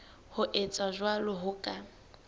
ho etsa jwalo ho ka